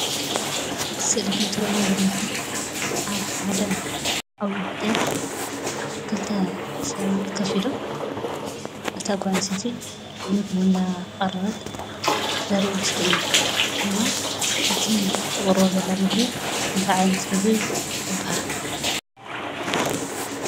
ኣብ እቲ ስእሊ ከምትሪእዎ ዘለኹም ኣብ ሓደ ዓብዪ ሆቴል ክልተ ሰባት ኮፍ ኢሎም፣ እታ ጓል ኣነስተይቲ ምግቢ እናቐረበት ዘርኢ ምስሊ እዩ፡፡ እና እቲ ተቕርቦ ዘላ ምግቢ እንታይ ዓይነት ምግቢ ይበሃል?